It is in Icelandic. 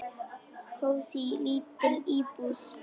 Kósí, lítil íbúð.